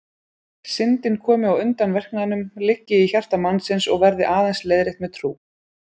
Syndin komi á undan verknaðinum, liggi í hjarta mannsins og verði aðeins leiðrétt með trú.